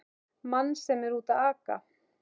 Mann sem er úti að aka!